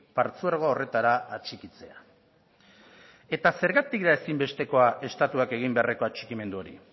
partzuergo horretara atxikitzea eta zergatik da ezinbestekoa estatuak egin beharreko atxikimendu hori